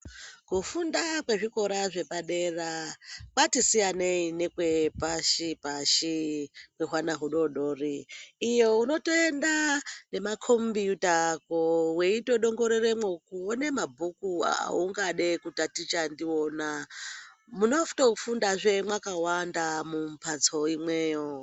Kufunda kwe zvikora zvepa dera kwati siyanei nekwe pashi pashi kwe hwana hu dodori iyo unoto enda nema kombiyuta ako weito dongororemwo kuone mabhuku aungade ku taticha ndiwona munoto fundazve makawanda mu mbatso imweyo.